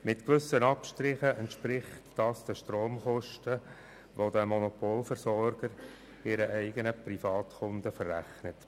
Mit gewissen Abstrichen entspricht dies den Stromkosten, den dieser Monopolversorger seinen eigenen Privatkunden verrechnet.